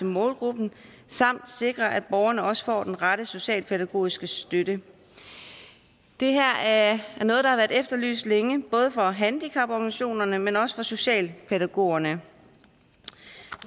målgruppen samt sikre at borgerne også får den rette socialpædagogiske støtte det her er noget der har været efterlyst længe både fra handicaporganisationerne men også fra socialpædagogerne